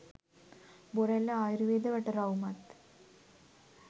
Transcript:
බොරැල්ල ආයුර්වේද වටරවුමත්